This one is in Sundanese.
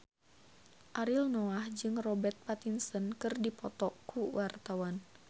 Ariel Noah jeung Robert Pattinson keur dipoto ku wartawan